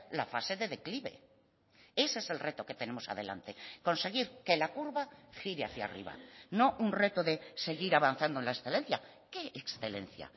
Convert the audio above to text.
la fase de declive ese es el reto que tenemos adelante conseguir que la curva gire hacia arriba no un reto de seguir avanzando en la excelencia qué excelencia